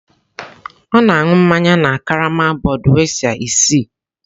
Ọ na-aṅụ mmanya na karama Budweiser isii.